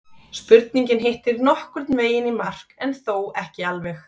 Spurningin hittir nokkurn veginn í mark en þó ekki alveg.